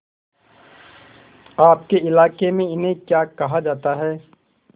आपके इलाके में इन्हें क्या कहा जाता है